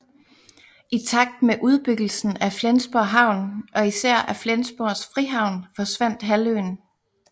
I takt med udbyggelsen af Flensborg Havn og især af Flensborgs frihavn forsvandt halvøen